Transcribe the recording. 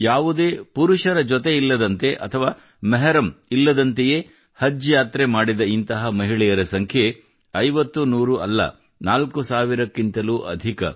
ಯಾವುದೇ ಪುರುಷರ ಜೊತೆ ಇಲ್ಲದಂತೆ ಅಥವಾ ಮೆಹರಮ್ ಇಲ್ಲದಂತೆಯೇ ಹಜ್ ಯಾತ್ರೆ ಮಾಡಿದ ಇಂತಹ ಮಹಿಳೆಯರ ಸಂಖ್ಯೆ ಐವತ್ತುನೂರು ಅಲ್ಲ ನಾಲ್ಕು ಸಾವಿರಕ್ಕಿಂತಲೂ ಅಧಿಕ